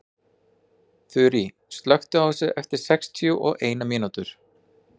Þurý, slökktu á þessu eftir sextíu og eina mínútur.